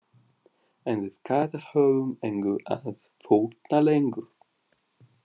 En við Kata höfum engu að fórna lengur.